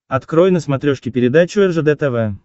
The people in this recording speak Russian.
открой на смотрешке передачу ржд тв